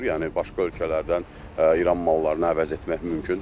Yəni başqa ölkələrdən İran mallarını əvəz etmək mümkündür.